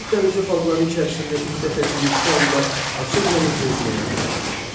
Aralıq dənizi xalqları içərisində ilk dəfə Finikiyalılar açıq dənizdə üzməyə başlamışdılar.